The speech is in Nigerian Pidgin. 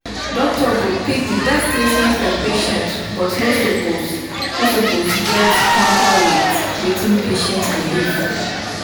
doctor go pick the best treatment for patient but no suppose no suppose get quanta with wetin patient belief.